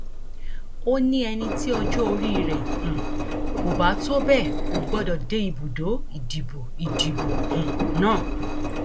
ó ní ẹni tí ọjọ orí rẹ um kò bá tó bẹẹ kò gbọdọ dé ibùdó ìdìbò ìdìbò um náà